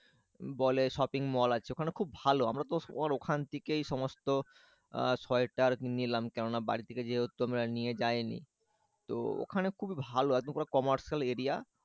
বলে shopping mall আছে ওখানে খুব ভালো আমরা তো ওর ওখান থেকেই সমস্ত আর শয়টার নিলাম কেননা বাড়ি থেকে যেহেতু আমরা নিয়ে যায়নি তো ওখানে খুবই ভালো কমার্শিয়াল এরিয়া।